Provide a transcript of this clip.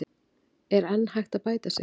En er enn hægt að bæta sig?